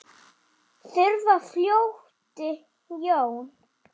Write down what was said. Þar flutti Jón